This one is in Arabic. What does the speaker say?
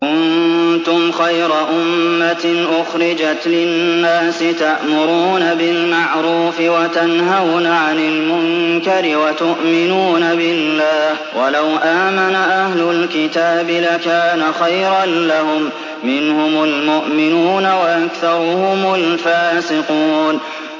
كُنتُمْ خَيْرَ أُمَّةٍ أُخْرِجَتْ لِلنَّاسِ تَأْمُرُونَ بِالْمَعْرُوفِ وَتَنْهَوْنَ عَنِ الْمُنكَرِ وَتُؤْمِنُونَ بِاللَّهِ ۗ وَلَوْ آمَنَ أَهْلُ الْكِتَابِ لَكَانَ خَيْرًا لَّهُم ۚ مِّنْهُمُ الْمُؤْمِنُونَ وَأَكْثَرُهُمُ الْفَاسِقُونَ